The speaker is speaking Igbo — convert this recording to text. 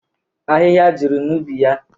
Ahịhịa juru na ubi yaa.